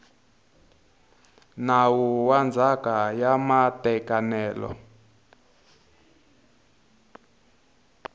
nawu wa ndzhaka ya matekanelo